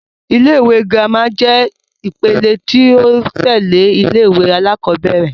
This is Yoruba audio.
Ilé-ìwé girama jẹ́ ìpele ti o tẹ́lẹ̀ ilé-ìwé alakọ̀bẹ́ẹ́rẹ̀